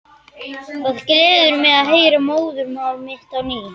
Það gleður mig að heyra móðurmál mitt á ný.